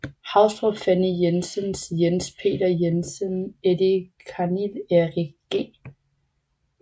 Haustrup Fanny Jensen Jens Peter Jensen Eddie Karnil Erich G